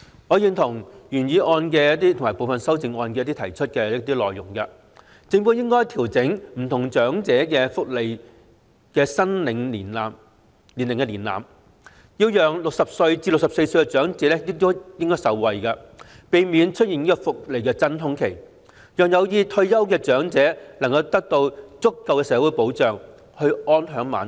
我認同原議案及部分修正案提出的一些內容，例如政府應該調整不同長者福利的申領年齡門檻，讓60歲至64歲的長者受惠，避免出現福利真空期，讓有意退休的長者能夠獲得足夠的社會保障，安享晚年。